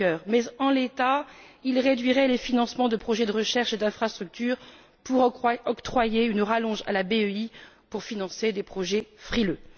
Juncker mais, en l'état, il réduirait les financements de projets de recherche et d'infrastructures pour octroyer une rallonge à la BEI en vue de financer des projets frileux.